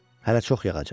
Hələ çox yağacaq.